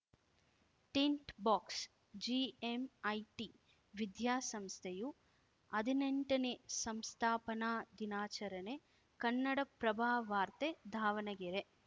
tint ಬಾಕ್ಸ್ GMIT ವಿದ್ಯಾಸಂಸ್ಥೆಯು ಹದಿನೆಂಟನೇ ಸಂಸ್ಥಾಪನಾ ದಿನಾಚರಣೆ ಕನ್ನಡಪ್ರಭವಾರ್ತೆ ದಾವಣಗೆರೆ